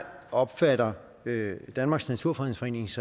opfatter danmarks naturfredningsforenings